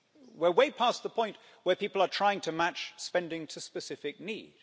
We're way past the point where people are trying to match spending to specific need.